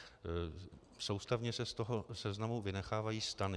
Současně se z toho seznamu vynechávají stany.